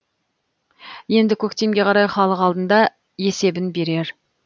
енді көктемге қарай халық алдында есебін берер